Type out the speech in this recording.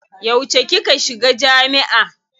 Yauce kika shiga jami'a.